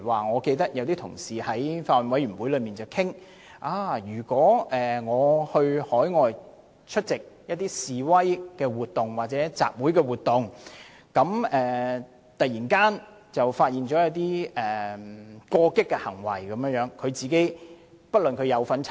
我記得有同事曾在法案委員會提出，如果有香港居民前往海外出席示威活動或集會活動，現場突然有人出現過激行為，該名居民是否須承擔責任。